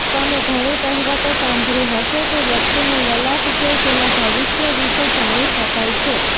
તમે ઘણી કહેવતો સાંભળી હશે કે વ્યક્તિનું લલાટ જોઈ તેના ભવિષ્ય વિશે જાણી શકાય છે